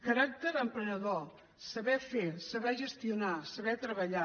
caràcter emprenedor saber fer saber gestionar saber treballar